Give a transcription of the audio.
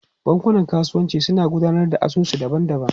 Bankunan kasuwanci suna gudanar da asusu daban-daban.